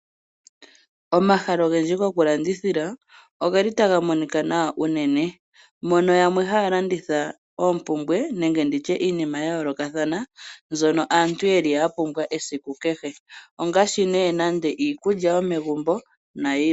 Omahala ogendji gwokulandithila ogeli taga monika nawa unene, mono yamwe haya landitha oompumbwe nenge nditye iinima ya yoolokathana mbyono aantu yeli ya pumbwa esiku kehe ongaashi nee nande iikulya yomegumbo nayilwe.